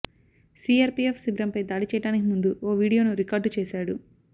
CRPF శిబిరంపై దాడి చేయడానికి ముందు ఓ వీడియోను రికార్డు చేశాడు